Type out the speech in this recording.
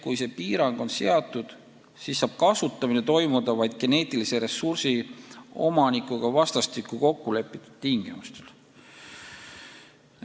Kui see piirang on seatud, siis saab kasutamine toimuda vaid geneetilise ressursi omanikuga vastastikku kokku lepitud tingimustel.